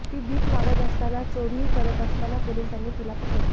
ती भीक मागत असताना चोरीही करत असताना पोलिसांनी तिला पकडले